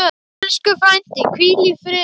Elsku frændi, hvíl í friði.